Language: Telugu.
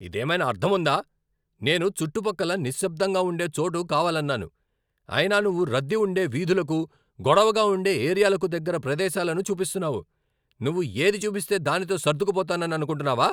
ఇదేమైనా అర్ధం ఉందా? నేను చుట్టుపక్కల నిశ్శబ్ధంగా ఉండే చోటు కావాలన్నాను, అయినా నువ్వు రద్దీ ఉండే వీధులకు, గొడవగా ఉండే ఏరియాలకు దగ్గర ప్రదేశాలను చూపిస్తున్నావు. నువ్వు ఏది చూపిస్తే దానితో సర్డుకుపోతానని అనుకుంటున్నావా?